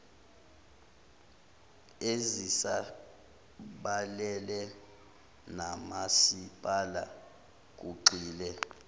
ezisabalele nomasipala kugxile